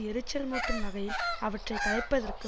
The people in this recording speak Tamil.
எரிச்சல் மூட்டும் வகையில் அவற்றை கலைப்பதற்கு